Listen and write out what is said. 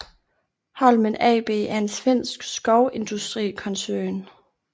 Holmen AB er en svensk skovindustrikoncern